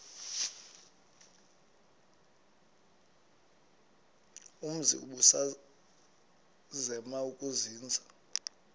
umzi ubusazema ukuzinza